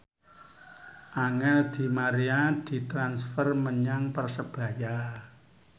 Angel di Maria ditransfer menyang Persebaya